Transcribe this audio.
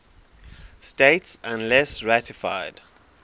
states unless ratified